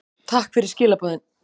Takk fyrir skilaboðin.